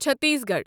Chhattisgarh